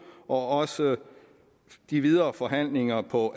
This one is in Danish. og også de videre forhandlinger på